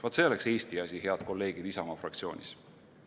Vaat see oleks Eesti asi, head kolleegid Isamaa fraktsioonist.